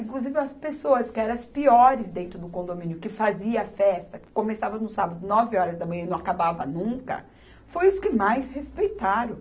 Inclusive, as pessoas que eram as piores dentro do condomínio, que faziam festa, que começava no sábado, nove horas da manhã e não acabava nunca, foram os que mais respeitaram.